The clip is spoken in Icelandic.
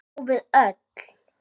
Og við öll.